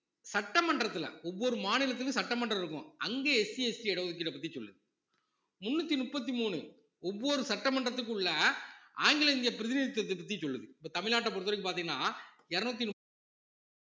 சட்டமன்றத்துல ஒவ்வொரு மாநிலத்துக்கும் சட்டமன்றம் இருக்கும் அங்க SCST இட ஒதுக்கீட பத்தி சொல்லுது முன்னூத்தி முப்பத்தி மூணு ஒவ்வொரு சட்டமன்றத்துக்குள்ள ஆங்கிலோ இந்திய பிரதிநிதித்துவத்தை பத்தி சொல்லுது இப்ப தமிழ்நாட்டை பொறுத்தவரைக்கும் பாத்தீங்கன்னா இருநூத்தி முப்~